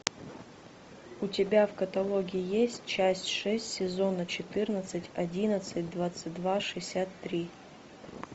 у тебя в каталоге есть часть шесть сезона четырнадцать одиннадцать двадцать два шестьдесят три